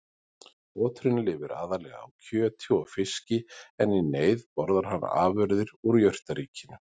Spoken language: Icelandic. Oturinn lifir aðallega á kjöti og fiski en í neyð borðar hann afurðir úr jurtaríkinu.